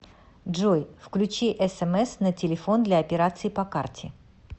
джой включи смс на телефон для операций по карте